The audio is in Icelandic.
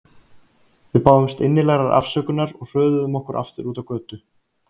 Við báðumst innilegrar afsökunar og hröðuðum okkur aftur út á götu.